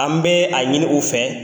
An bɛ a ɲini u fɛ.